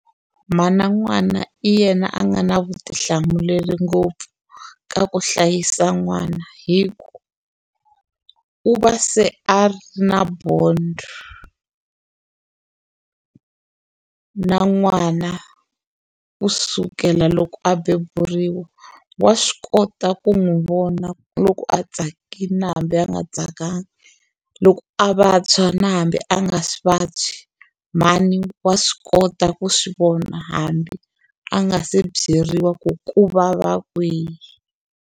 Mhana n'wana i yena a nga na vutihlamuleri ngopfu ka ku hlayisa n'wana hi ku u va se a ri na bond na n'wana kusukela loko a beburiwa wa swi kota ku n'wi vona loko a tsakile hambi a nga tsakanga loko a vabya na hambi a nga swi vabyi mhani wa swi kota ku swivona hambi a nga se byeriwa ku ku vava kwihi.